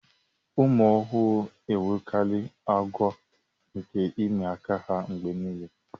ụmụ ọhụrụ enwekarị àgwà nke ịmị aka ha mgbe nile